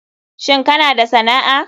Shin kana da sana'a.